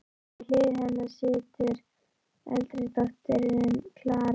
Við hlið hennar situr eldri dóttirin, Klara.